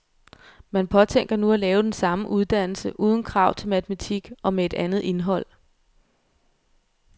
Man påtænker nu at lave den samme uddannelse uden krav til matematik og med et andet indhold.